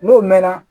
N'o mɛn na